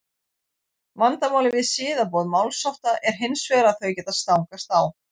vandamálið við siðaboð málshátta er hins vegar að þau geta stangast á